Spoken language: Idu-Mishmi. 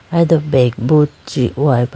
aye do bag bo ji hoyeba.